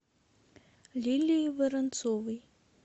лилии воронцовой